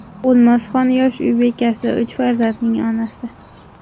O‘lmasxon – yosh uy bekasi, uch farzandning onasi.